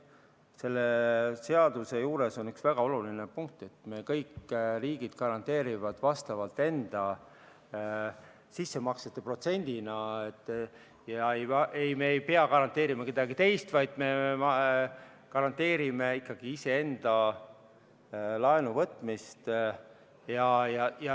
Selle seaduse juures on üks väga oluline punkt: kõik riigid garanteerivad vastavalt enda sissemaksete protsendile ja me ei pea garanteerima kellegi teise laenu, vaid me garanteerime ikkagi iseenda laenuvõtmist.